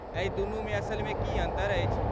एहि दुनूमे असलमे की अन्तर अछि?